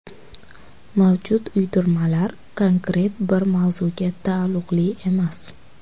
Mavjud uydirmalar konkret bir mavzuga taalluqli emas.